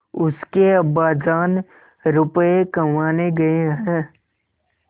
उसके अब्बाजान रुपये कमाने गए हैं